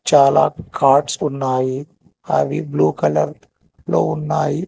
చాలా కట్స్ ఉన్నాయి అవి బ్లూ కలర్ లో ఉన్నాయి.